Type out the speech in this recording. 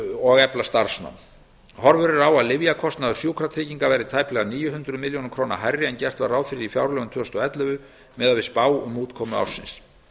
og efla starfsnám horfur eru á að lyfjakostnaður sjúkratrygginga verði tæplega níu hundruð milljóna króna hærri en gert var ráð fyrir í fjárlögum tvö þúsund og ellefu miðað við spá um útkomu ársins